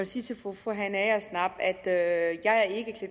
sige til fru fru hanne agersnap at jeg ikke i